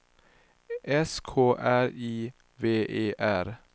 S K R I V E R